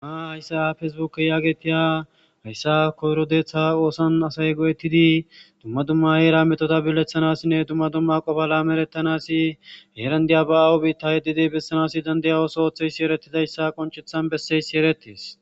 Hayssa feesibuke yaagetiya hayssa koyrodeeththa oosan asay go7ettidi dumma dumma eera metoda bileththanassinne dumma dumma qofa laameerettanasi heerandiya ba aawo biitta yeddidi bessanasi dandaya oso ooththeysi erettizayssa qonchethan besseyssi eretis.